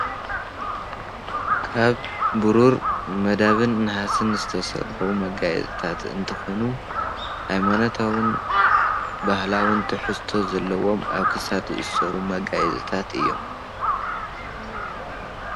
ካብ ቡሩርን መዳብን ናሃስን ዝተሰርሑ መጋየፅትታት እንትኮኑ ሃይማኖታዊን ባህላዊን ትሕዝቶ ዘለዎም ኣብ ክሳድ ዝእሰሩ መጋየፂትታት እዮም፡፡